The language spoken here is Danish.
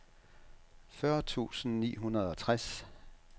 fyrre tusind ni hundrede og tres